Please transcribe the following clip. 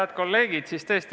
Head kolleegid!